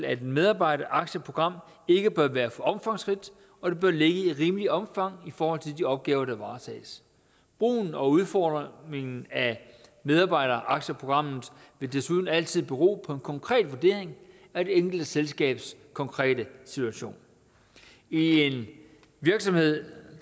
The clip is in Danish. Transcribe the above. at et medarbejderaktieprogram ikke bør være for omfangsrigt og det bør ligge i rimeligt omfang i forhold til de opgaver der varetages brugen og udformningen af medarbejderaktieprogrammet vil desuden altid bero på en konkret vurdering af det enkelte selskabs konkrete situation i en virksomhed